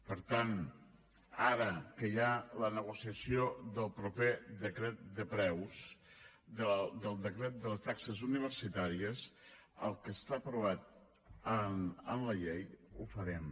per tant ara que hi ha la negociació del proper decret de preus del decret de les taxes universitàries el que està aprovat en la llei ho farem